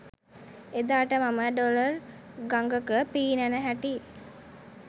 එදාට මම ඩොලර් ගඟක පීනන හැටි